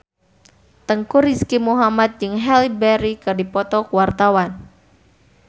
Teuku Rizky Muhammad jeung Halle Berry keur dipoto ku wartawan